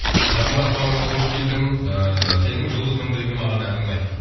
қажымұрат бауырым қош келдің ііі сенің жұлдыз фм дегі маған әнің ұнайды